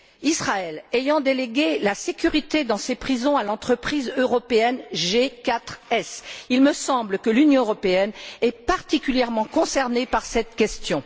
Israël ayant délégué la sécurité dans ses prisons à l'entreprise européenne G4S, il me semble que l'Union européenne est particulièrement concernée par cette question.